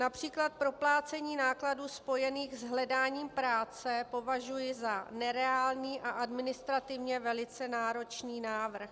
Například proplácení nákladů spojených s hledáním práce považuji za nereálný a administrativně velice náročný návrh.